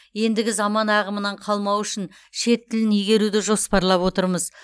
ендігі заман ағымынан қалмау үшін шет тілін игеруді жоспарлап отырмыз